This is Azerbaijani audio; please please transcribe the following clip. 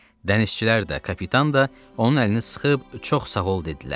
Dənizçilər də, kapitan da onun əlini sıxıb çox sağ ol dedilər.